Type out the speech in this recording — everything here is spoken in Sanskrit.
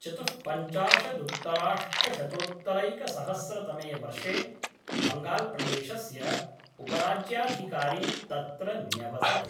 चतुःपञ्चाशदुत्तराष्टशतोत्तरैकसहस्रतमे वर्षे बङ्गाल्प्रदेशस्य उपराज्याधिकारी तत्र न्यवसत्।